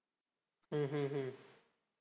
हम्म हम्म हम्म